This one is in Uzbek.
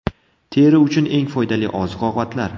Teri uchun eng foydali oziq-ovqatlar.